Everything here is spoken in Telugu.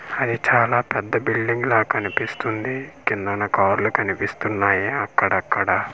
అయి చాలా పెద్ద బిల్డింగ్లా కనిపిస్తుంది కిందున్న కార్లు కనిపిస్తున్నాయి అక్కడక్కడ.